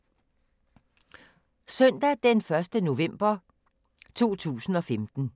Søndag d. 1. november 2015